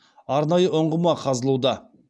арнайы ұңғыма қазылуда